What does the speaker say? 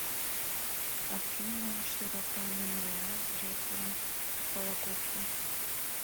афина широта мемориал жертвам холокоста